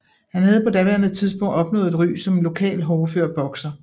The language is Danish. Han havde på daværende tidspunkt opnået et ry som en lokal hårdfør bokser